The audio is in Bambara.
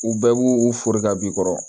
U bɛɛ b'u u fori ka b'i kɔrɔ